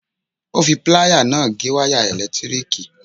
Ó fi pláyà náà gé wáyà ẹ̀lẹ̀tíríkì.